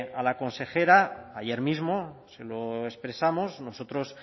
a la consejera ayer mismo se lo expresamos nosotros